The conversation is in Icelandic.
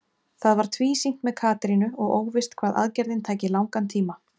Það var tvísýnt með Katrínu og óvíst hvað aðgerðin tæki langan tíma.